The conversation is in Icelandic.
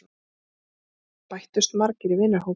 Þar bættust margir í vinahópinn.